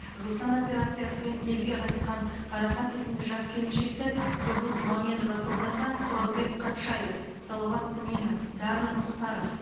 жусан операциясымен елге қайтқан қарақат есімді жас келіншекті жұлдыз мамедова сомдаса құралбек қатшаев салауат түменов дарын мұхтаров